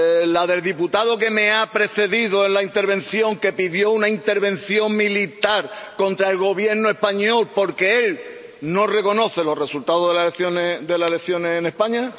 ¿La del diputado que me ha precedido en el debate que pidió una intervención militar contra el Gobierno español porque él no reconoce los resultados de las elecciones en España?